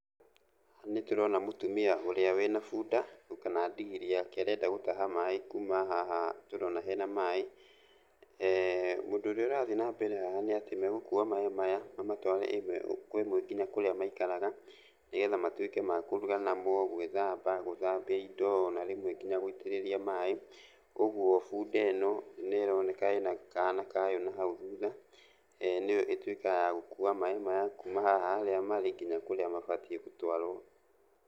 Haha nĩtũrona mũtumia ũrĩa wĩna bunda kana ndigiri yake arenda gũtaha maĩ kuma haha tũrona hena maĩ. Ũndũ ũrĩa ũrathiĩ na mbere haha nĩ atĩ megũkua maĩ maya na matware ĩmwe kwa imwe kinya kũrĩa maikaraga, nĩgetha matuĩke ma kũruga namo, gwĩthamba, gũthambia indo na rĩmwe kinya gũitĩrĩria maĩ. Ũguo bunda ĩno nĩroneka ĩna kana kayo na hau thutha, nĩyo ĩtuĩkaga ya gũkua maĩ maya, kuma haha harĩa marĩ kinya kũrĩa mabatiĩ gũtwarwo.